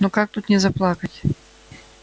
ну как тут не заплакать